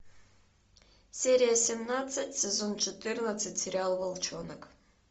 серия семнадцать сезон четырнадцать сериал волчонок